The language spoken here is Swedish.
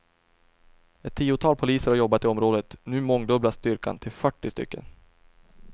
Ett tiotal poliser har jobbat i området, nu mångdubblas styrkan till fyrtio stycken.